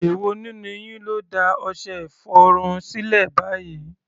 Èwo nínú yín ló da ọṣẹ-ìfọrun sílẹ̀ báyìí?